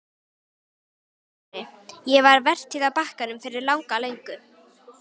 VATNSBERI: Ég var vertíð á Bakkanum fyrir langa löngu.